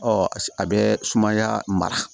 Ɔ a bɛ sumaya mara